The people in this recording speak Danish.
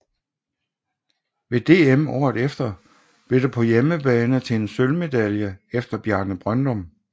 Ved DM året efter blev det på hjemmebane til en sølvmedalje efter Bjarne Brøndum